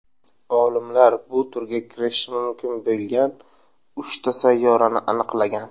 Olimlar bu turga kirishi mumkin bo‘lgan uchta sayyorani aniqlagan.